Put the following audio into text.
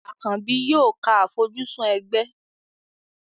Àkànbì yóò ka àfojúsùn ẹgbẹ́.